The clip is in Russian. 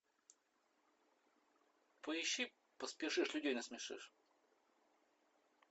поищи поспешишь людей насмешишь